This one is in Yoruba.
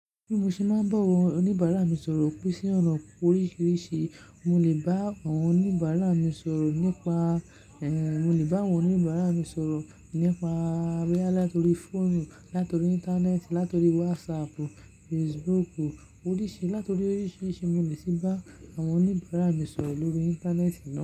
Bí mo ṣe máa ń bá àwọn oníbàárà mi sọ̀rọ̀ pé sí ọ̀nà oríṣìíríṣìí, mo lè bá àwọn oníbàárà mi sọ̀rọ̀ nípa, ehn, mo lè bá àwọn oníbàárà mi sọ̀rọ̀ nípa boyá láti orí fóònù, láti orí Íńtánẹ́ẹ̀tì, láti orí wásaàpù, fesibúùkù, oríṣi, láti oríṣìíríṣìí mo le ṣe bá àwọn oníbàárà mi sọ̀rọ̀ lórí Íńtánẹ́ẹ̀tì na.